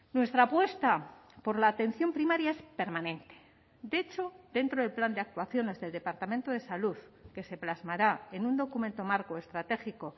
nuestra apuesta por la atención primaria es permanente de hecho dentro del plan de actuaciones del departamento de salud que se plasmará en un documento marco estratégico